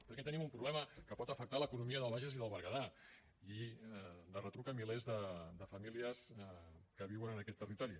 perquè tenim un problema que pot afectar l’economia del bages i del berguedà i de retruc milers de famílies que viuen en aquest territori